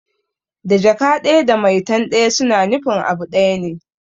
Da Jaka ɗaya da maitan ɗaya suna nufin abu ɗaya ne